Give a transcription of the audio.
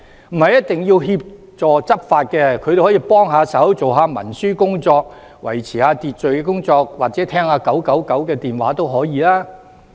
他們不一定只協助執法，也可以幫忙文書工作、維持秩序或接聽999電話都可以。